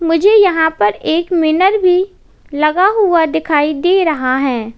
मुझे यहां पर एक मिरर भी लगा हुआ दिखाई दे रहा है।